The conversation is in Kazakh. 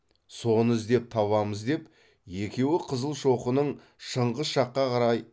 соны іздеп табамыз деп екеуі қызылшоқының шыңғыс жаққа қарай